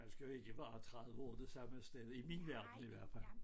Man skal jo ikke være 30 år det samme sted i min verden i hvert fald